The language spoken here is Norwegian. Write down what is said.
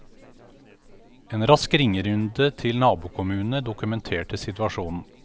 En rask ringerunde til nabokommunene dokumenterte situasjonen.